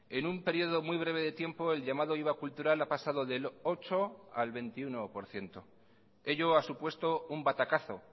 en un periodo muy breve de tiempo el llamado iva cultural ha pasado del ocho por ciento al veintiuno por ciento ello ha supuesto un batacazo